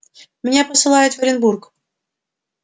меня посылают в оренбург